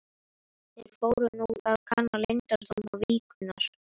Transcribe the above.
Þeir fóru nú að kanna leyndardóma víkurinnar.